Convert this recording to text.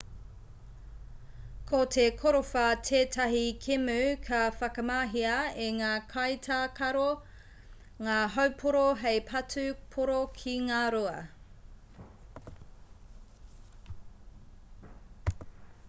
ko te korowha tētahi kēmu ka whakamahia e ngā kaitākaro ngā haupōro hei patu pōro ki ngā rua